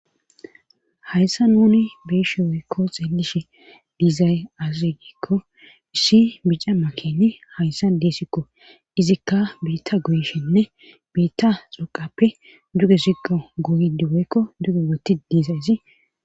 hayssa nuni beeshe woykko xeelishe diizay azaz giikko issi bica makeni hayssa deesikko izikka biitta guyishinne biitta xuqappe duge siqo goydi woykko duge woti diizay izi